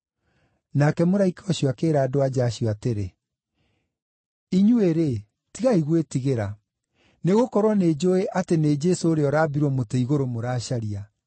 Nake mũraika ũcio akĩĩra andũ-a-nja acio atĩrĩ, “Inyuĩ-rĩ, tigai gwĩtigĩra, nĩgũkorwo nĩnjũũĩ atĩ nĩ Jesũ ũrĩa ũraambirwo mũtĩ-igũrũ mũracaria.